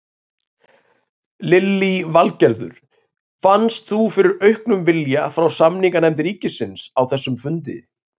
Lillý Valgerður: Fannst þú fyrir auknum vilja frá samninganefnd ríkisins á þessum fundi?